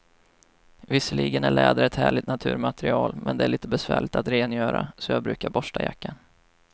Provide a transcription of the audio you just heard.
Visserligen är läder ett härligt naturmaterial, men det är lite besvärligt att rengöra, så jag brukar borsta jackan.